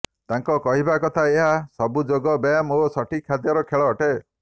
ତାଙ୍କ କହିବା କଥା ଏହା ସବୁ ଯୋଗ ବ୍ୟାୟାମ ଓ ସଠିକ୍ ଖାଦ୍ୟର ଖେଳ ଅଟେ